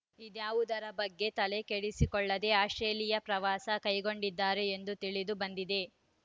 ಇದಾವುದರ ಬಗ್ಗೆ ತಲೆಕೆಡಿಸಿಕೊಳ್ಳದೆ ಆಸ್ಪ್ರೇಲಿಯಾ ಪ್ರವಾಸ ಕೈಗೊಂಡಿದ್ದಾರೆ ಎಂದು ತಿಳಿದು ಬಂದಿದೆ